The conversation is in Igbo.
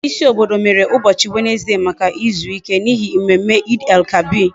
Ndi isi obodo mere ubochi Wednesday Maka izuike, n'ihi mmemme Eid El kabir